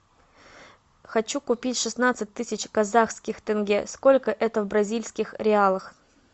хочу купить шестнадцать тысяч казахских тенге сколько это в бразильских реалах